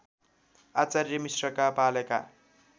आचार्य मिश्रका पालेका